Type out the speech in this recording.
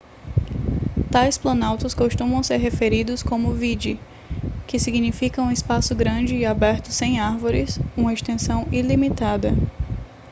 tais planaltos costumam ser se referidos como vidde que significa um espaço grande e aberto sem árvores uma extensão ilimitada